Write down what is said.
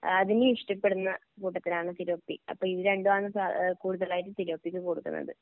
ഇഷ്ടപ്പെടുന്ന കൂട്ടത്തിലാണ് തിലോപ്പി അപ്പോ ഇതു രണ്ടുമാണ് സാ കൂടുതലായിട്ടും തിലോപ്പിക്ക് കൊടുക്കുന്നത്.